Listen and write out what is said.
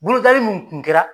Bolodali mun tun kɛra